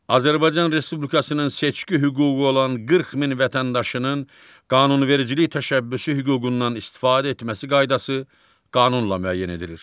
Azərbaycan Respublikasının seçki hüququ olan 40 min vətəndaşının qanunvericilik təşəbbüsü hüququndan istifadə etməsi qaydası qanunla müəyyən edilir.